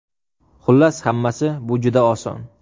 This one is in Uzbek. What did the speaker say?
Xullas hammasi bu juda oson.